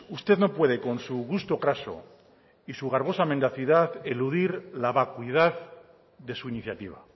usted no puede con su gusto craso y su garbosa mendacidad eludir la vacuidad de su iniciativa